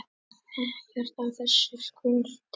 Ekkert af þessu skorti.